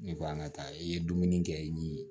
Ne ko an ka taa i ye dumuni kɛ i ni